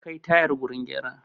An kai tayar wurin gyara